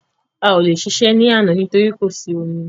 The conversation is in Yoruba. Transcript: A o le ṣe iṣẹ́ ní àná torí pé kò sí omi